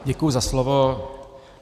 Děkuji za slovo.